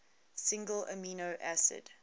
single amino acid